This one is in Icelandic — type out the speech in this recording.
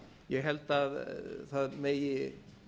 ég held að það megi